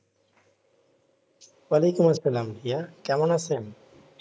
ওয়ালাইকুম আসসালাম ভাইয়া কেমন আছেন?